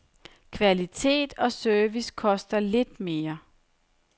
Kvalitet og service koster lidt mere.